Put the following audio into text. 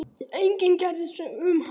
Enginn kærði sig um hann.